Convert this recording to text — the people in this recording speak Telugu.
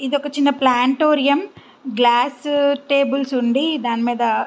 ఇది ఒక చిన్న ప్లానిటోరియం గ్లాస్ టేబుల్స్ ఉండి దాని మీద --